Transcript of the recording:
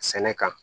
Sɛnɛ kan